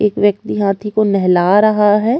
एक व्यक्ति हाथी को नेहला रहा हैं।